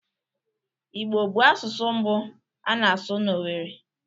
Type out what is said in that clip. Igbo bụ asụsụ mbụ a na-asụ na Owerri